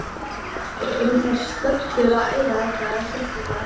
Eru þær stöllur að æfa þetta eitthvað sérstaklega?